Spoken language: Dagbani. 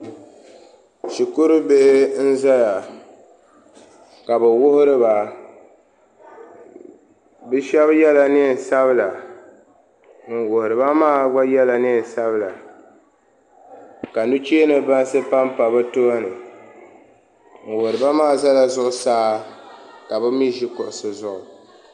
Shikuru bihi n ʒɛya ka bi wuhuriba bi shab yɛla neen sabila ŋun wuhuriba maa gba yɛla neen sabila ka nuchee ni bansi panpa bi tooni ŋun wuhurimaa ʒɛla zuɣusaa ka bi mii ʒi kuɣusi zuɣu